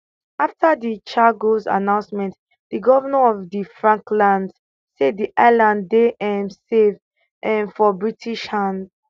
afta di chagos announcement di govnor of di falklands say di islands dey um safe um for british hands